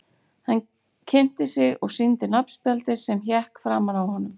Hann kynnti sig og sýndi nafnspjaldið sem hékk framan á honum.